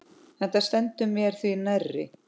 Þetta stendur mér því nærri.